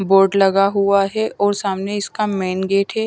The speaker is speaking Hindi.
बोर्ड लगा हुआ है और सामने इसका मेन गेट हैं।